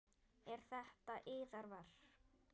Eru þetta yðar verk?